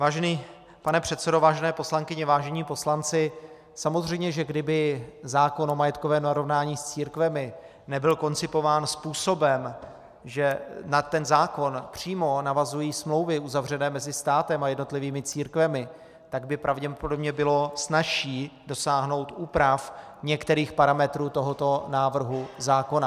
Vážený pane předsedo, vážené poslankyně, vážení poslanci, samozřejmě že kdyby zákon o majetkovém narovnání s církvemi nebyl koncipován způsobem, že na ten zákon přímo navazují smlouvy uzavřené mezi státem a jednotlivými církvemi, tak by pravděpodobně bylo snazší dosáhnout úprav některých parametrů tohoto návrhu zákona.